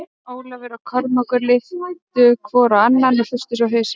Jón Ólafur og Kormákur litu hvor á annan og hristu svo hausinn.